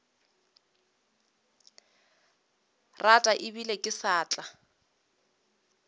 rata ebile ke sa tla